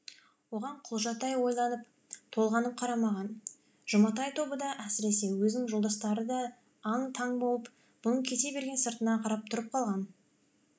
оған құлжатай ойланып толғанып қарамаған жұматай тобы да әсіресе өзінің жолдастары да аң таң болып бұның кете берген сыртына қарап тұрып қалған